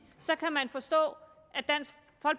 forstå